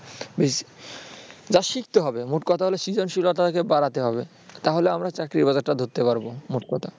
শিখতে হবে মোট কথা হল সৃজনশীলতাকে বাড়াতে হবে তাহলে আমরা চাকরির বাজারটা ধরতে পারব মোট কথা